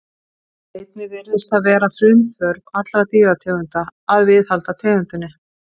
Einnig virðist það vera frumþörf allra dýrategunda að viðhalda tegundinni.